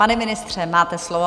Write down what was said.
Pane ministře, máte slovo.